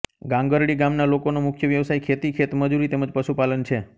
ગાંગરડી ગામના લોકોનો મુખ્ય વ્યવસાય ખેતી ખેતમજૂરી તેમ જ પશુપાલન છે